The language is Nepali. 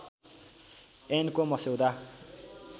ऐनको मस्यौदा